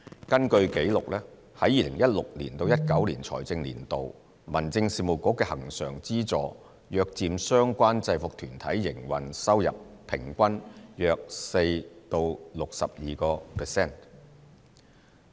根據紀錄，在2016年至2019年的財政年度，民政事務局的恆常資助約佔相關制服團體營運收入平均約 4% 至 62%。